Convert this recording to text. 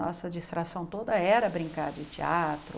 Nossa distração toda era brincar de teatro...